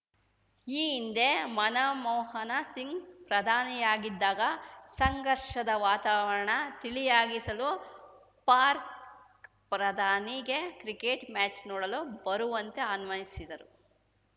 ಈ ಹಿಂದೆ ಮನಮೋಹನ ಸಿಂಗ್‌ ಪ್ರಧಾನಿಯಾಗಿದ್ದಾಗ ಸಂಘರ್ಷದ ವಾತಾವರಣ ತಿಳಿಯಾಗಿಸಲು ಪಾರ್ಕ್ ಪ್ರಧಾನಿಗೆ ಕ್ರಿಕೆಟ್‌ ಮ್ಯಾಚ್‌ ನೋಡಲು ಬರುವಂತೆ ಆನ್ವಸಿದ್ದರು